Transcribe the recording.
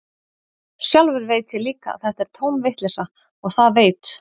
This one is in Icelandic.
Sjálfur veit ég líka að þetta er tóm vitleysa, og það veit